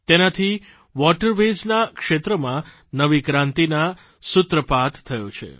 તેનાથી waterways ના ક્ષેત્રમાં નવી ક્રાંતિના સૂત્રપાત થયો છે